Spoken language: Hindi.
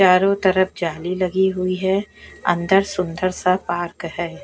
चारों तरफ जाली लगी हुई है अंदर सुंदर सा पार्क है।